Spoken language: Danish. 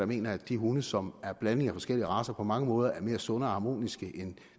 mener at de hunde som er blanding af forskellige racer på mange måder er mere sunde og harmoniske end